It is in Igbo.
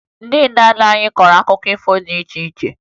Ndị nna nna anyị kọrọ akụkọ ifo dị iche iche